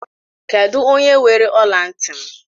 Kedụ onye weere ọla ntị m?